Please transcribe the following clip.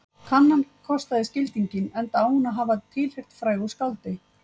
Kannan kostaði skildinginn enda á hún að hafa tilheyrt frægu skáldi